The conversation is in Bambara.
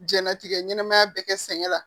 Jɛnlatigɛ ɲɛnamaya bɛ kɛ sɛgɛn la